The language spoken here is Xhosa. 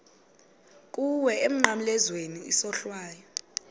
kuwe emnqamlezweni isohlwayo